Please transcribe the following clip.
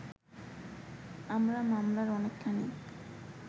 আমরা মামলার অনেকখানি